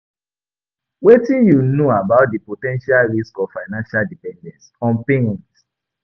Wetin you know about di po ten tial risks of financial dependence on parents?